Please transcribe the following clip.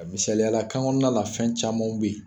Misaliyala kan kɔnɔna la fɛn camanw bɛ yen